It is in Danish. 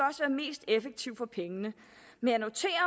effektiv for pengene men